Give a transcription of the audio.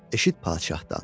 eşit padşahdan.